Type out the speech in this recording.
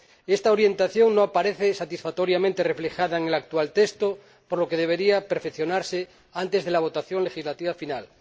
Esta orientación no aparece satisfactoriamente reflejada en el actual texto, por lo que debería perfeccionarse antes de la votación legislativa final.